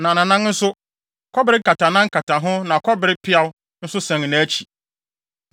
Na nʼanan nso, kɔbere nkatanan kata ho na kɔbere peaw nso sɛn nʼakyi.